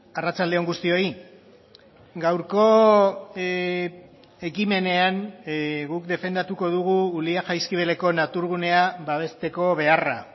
arratsalde on guztioi gaurko ekimenean guk defendatuko dugu ulia jaizkibeleko naturgunea babesteko beharra